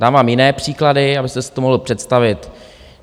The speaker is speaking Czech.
Dám vám jiné příklady, abyste si to mohl představit.